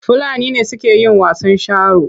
Fulani ne suke yin wasan sharo.